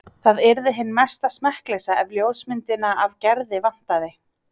Það yrði hin mesta smekkleysa ef ljósmyndina af Gerði vantaði.